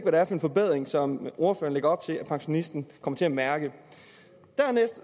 er for en forbedring som ordføreren lægger op til at pensionisten kommer til at mærke dernæst